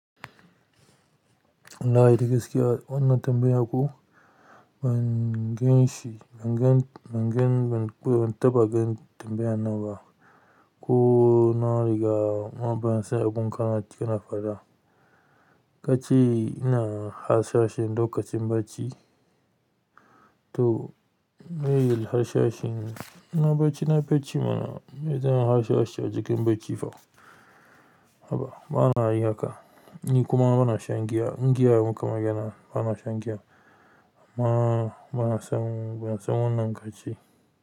Lahi da gaskiya wannan tambaya ko ban ganshi, ban gan, ban gan, ban taɓa gan tambayan nan ba. Ko na riga ma bansan abun kamat kina faɗa. Kaceiina harsashin lokacin bacci? To, me yil harsashin? Ina bacci, na bacci mana. Ni me zan harsashe a jikin bacci fa? Haba bana yi haka. Ni kuma ba na shan giya. Giya maka magena. Ba na shan giya. Ma ba na son, ba na son wannan kace.